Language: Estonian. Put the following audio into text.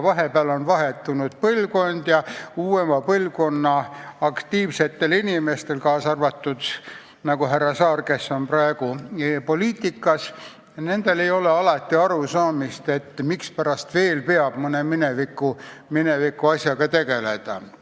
Vahepeal on põlvkonnad vahetunud ja uuema põlvkonna aktiivsetel inimestel, kaasa arvatud härra Saar, kes on praegu poliitikas, ei ole alati arusaamist, mispärast veel peab mõne minevikuasjaga tegelema.